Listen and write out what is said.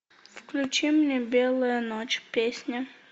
включи мне белая ночь песня